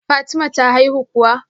Fatima ta haihu kuwa?